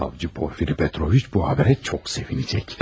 Savcı Porfiri Petroviç bu xəbərə çox sevinəcək.